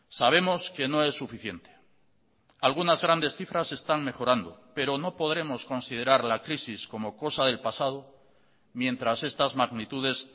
sabemos que no es suficiente algunas grandes cifras están mejorando pero no podremos considerar la crisis como cosa del pasado mientras estas magnitudes